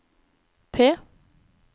P